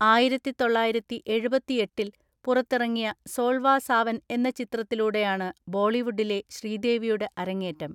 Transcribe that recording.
ആയിരത്തിതൊള്ളയിരത്തിഎഴുപത്തിഎട്ടിൽ പുറത്തിറങ്ങിയ സോൾവാ സാവൻ എന്ന ചിത്രത്തിലൂടെയാണ് ബോളിവുഡിലെ ശ്രീദേവിയുടെ അരങ്ങേറ്റം.